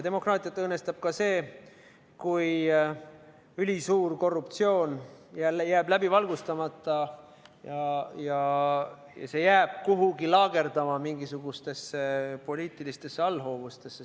Demokraatiat õõnestab ka see, kui ülisuur korruptsioon jääb jälle läbi valgustamata ja see jääb kuhugi mingisugustesse poliitilistesse allhoovustesse laagerduma.